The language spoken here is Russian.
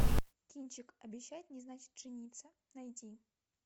кинчик обещать не значит жениться найди